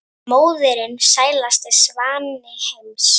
en móðirin sælasti svanni heims